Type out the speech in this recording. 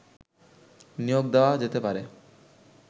নিয়োগ দেওয়া যেতে পারে